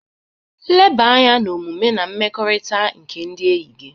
Leba anya na omume na mmekọrịta nke ndị na-eyi.